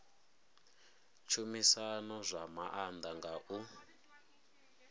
tshumisano zwa maanḓa nga u